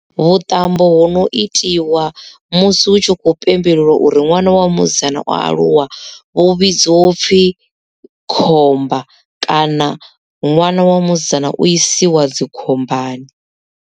Vhuṱambo hu no itiwa musi hu tshi khou pembelelwa uri ṅwana wa musidzana o aluwa vhu vhidziwa upfhi khomba kana ṅwana wa musidzana u isiwa dzikhombani.